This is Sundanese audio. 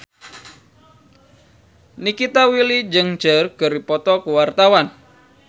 Nikita Willy jeung Cher keur dipoto ku wartawan